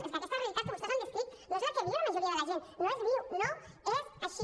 és que aquesta realitat que vostès han descrit no és la que viu la majoria de la gent no es viu no és així